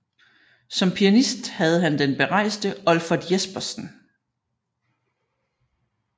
Som pianist havde han den berejste Olfert Jespersen